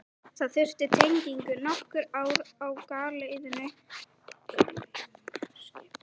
Það þurfti tengingu, nokkur ár á galeiðunni, skipbrot, uppgjöf.